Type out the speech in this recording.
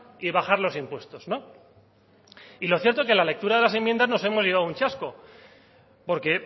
y bajar los impuestos no y lo cierto es que en la lectura de las enmiendas nos hemos llevado un chasco porque